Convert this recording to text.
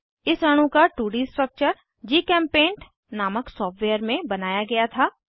इस अणु का 2डी स्ट्रक्चर जीचेम्पेंट नामक सॉफ्टवेयर में बनाया गया था